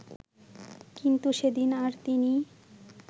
কিন্তু সেদিন আর তিনি